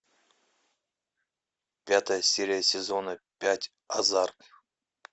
пятая серия сезона пять азарт